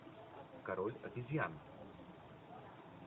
король обезьян